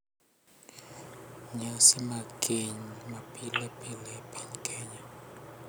Nyasi mag keny ma pile pile e piny Kenya